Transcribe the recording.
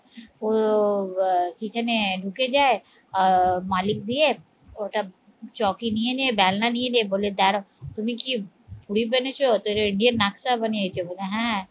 তো আহ kitchen এ ঢুকে যায় আহ মালিক দিয়ে ওটা চৌকি নিয়ে নে বলে দাঁড়াও তুমি কি পুরি বানিয়েছ দিয়ে নাকটা জানিয়েছি বলো হ্যাঁ